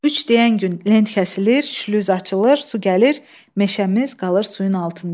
Üç deyən gün lent kəsilir, şlüz açılır, su gəlir, meşəmiz qalır suyun altında.